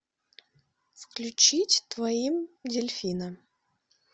включить твоим дельфина